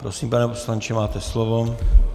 Prosím, pane poslanče, máte slovo.